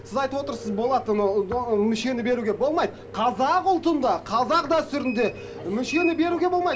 сіз айтып отырсыз болады мүшені беруге болмайды қазақ ұлтында қазақ дәстүрінде мүшені беруге болмайды